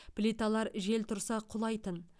плиталар жел тұрса құлайтын